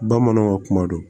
Bamananw ka kuma do